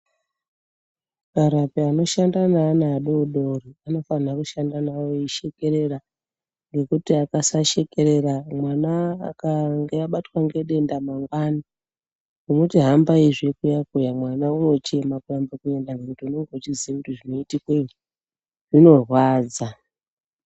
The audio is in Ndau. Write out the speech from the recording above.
Varapi vanoshanda neana adoodori, vafanirwa kushanda navo veishekerera. Ngekuti akasashekerera, mwana akanga abatwa ngedenda mangwani, kumuti hambaizve kuya-kuya mwana unochema kurambe kuenda ngekuti unenge echiziya kuti zvinoitikeyo zvinorwadza.